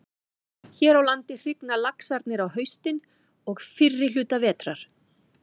Hér á landi hrygna laxarnir á haustin og fyrri hluta vetrar.